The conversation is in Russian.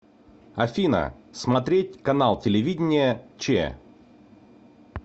афина смотреть канал телевидения че